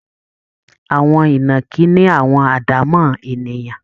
Àwọn ìnàkí ní àwọn àdámọ́ ènìyàn